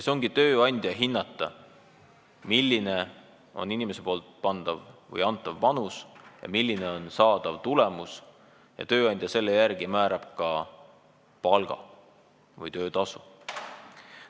See on tööandja hinnata, milline on inimese antav panus ja saadav tulemus, ning tööandja määrab selle järgi ka palga või töötasu.